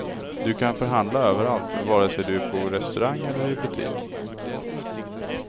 Du kan förhandla överallt, vare sig du är på restaurang eller i butik.